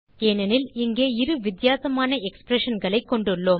ஏனெனில் இங்கே இரு வித்தியாசமான எக்ஸ்பிரஷன்களைக் கொண்டுள்ளோம்